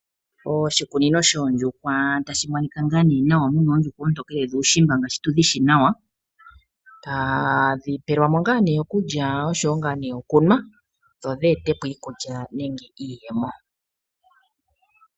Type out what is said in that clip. Oshikunino shoondjuhwa otashi monika nawa mu na oondjuhwa oontokele dhuushimba ngaashi tu dhi shi nawa. Otadhi pelwa mo okulya noshowo okunwa dhodhe ete po iikulya nenge iiyemo.